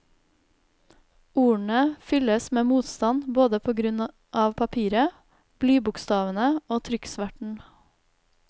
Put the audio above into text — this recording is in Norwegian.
Ordene fylles med motstand både på grunn av papiret, blybokstavene og trykksverten.